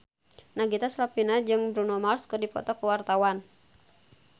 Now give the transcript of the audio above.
Nagita Slavina jeung Bruno Mars keur dipoto ku wartawan